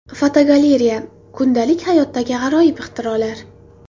Fotogalereya: Kundalik hayotdagi g‘aroyib ixtirolar.